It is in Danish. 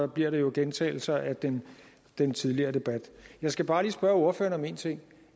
bliver det jo gentagelser af den den tidligere debat jeg skal bare lige spørge ordføreren om én ting